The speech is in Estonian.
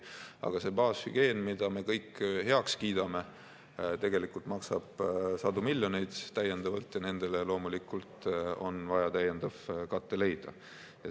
Aga see baashügieen, mille me kõik heaks kiidame, tegelikult maksab sadu miljoneid täiendavalt ja nendele loomulikult on vaja täiendav kate leida.